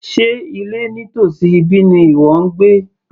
Sé ilé nítòsí ibí ni ìwọ ń gbé